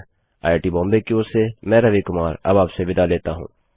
IIT Bombay की ओर से मैं रवि कुमार अब आप से विदा लेता हूँ